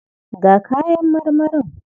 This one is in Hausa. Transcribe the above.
Ga kayan marmarin.